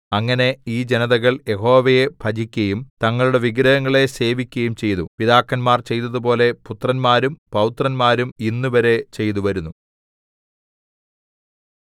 അങ്ങനെ ഈ ജനതകൾ യഹോവയെ ഭജിക്കയും തങ്ങളുടെ വിഗ്രഹങ്ങളെ സേവിക്കയും ചെയ്തു പിതാക്കന്മാർ ചെയ്തതുപോലെ പുത്രന്മാരും പൌത്രന്മാരും ഇന്നുവരെ ചെയ്തുവരുന്നു